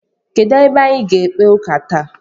Kedụ ebe anyị ga-ekpe ụka taa?